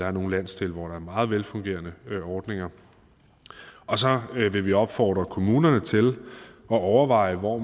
er nogle landsdele hvor der er meget velfungerende ordninger og så vil vi opfordre kommunerne til at overveje hvor